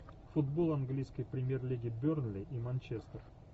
футбол английской премьер лиги бернли и манчестер